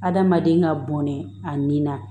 Adamaden ka bɔnɛ a nina